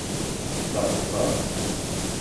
Plače pa ...